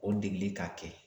O degeli k'a kɛ